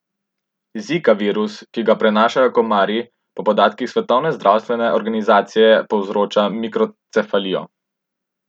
Zika virus, ki ga prenašajo komarji, po podatkih svetovne zdravstvene organizacije povzroča mikrocefalijo.